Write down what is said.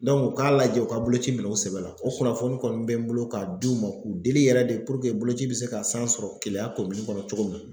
u k'a lajɛ u ka boloci minɛ u sɛbɛ la o kunnafoni kɔni bɛ n bolo k'a d'u ma k'u deli yɛrɛ de puruke boloci bɛ se ka san sɔrɔ Keleya kɔnɔ cogo min.